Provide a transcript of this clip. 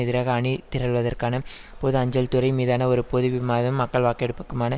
எதிராக அணிதரள்வதற்கான பொது அஞ்சல் துறை மீதான ஒரு பொது விமாதம் மக்கள் வாக்கெடுப்புக்குமான